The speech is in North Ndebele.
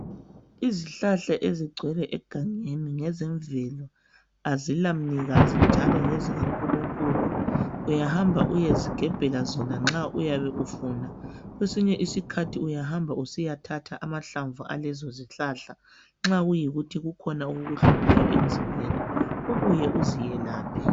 Izihlahla ezigcwele egangeni ngeizemvelo azilamnikazi njalo ngezikaNkulunkulu uyahamba uyezigebhela zona nxa uyabe ufuna. Kwesinye isikhathi uyahamba usiyathatha amahlamvu alezo zihlahla nxa kuyikuthi kukhona okukuhluphayo emzimbeni ubuye uziyelaphe.